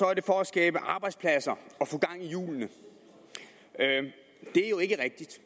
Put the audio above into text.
er det for at skabe arbejdspladser og i hjulene det er jo ikke rigtigt